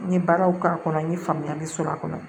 N ye baaraw k'a kɔnɔ n ye faamuyali sɔrɔ a kɔnɔ